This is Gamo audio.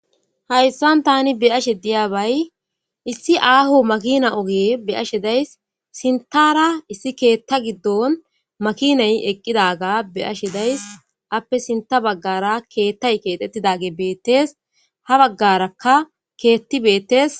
Hayssan tani beyashe diyaabay issi aahu makina oge be ashe days sintara issi keetta giddon makinay eqqidaga be ashe days appe sinta baggara keettay keexettidage beettes ha baggarakka keetti beettees.